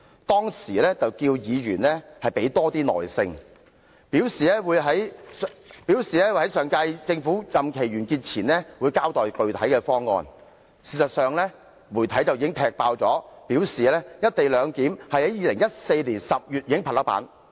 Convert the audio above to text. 當時，他要求議員要有多些耐性，並表示會在上屆政府任期完結前交待具體方案，但事實上，媒體已踢爆，"一地兩檢"方案已在2014年10月拍板。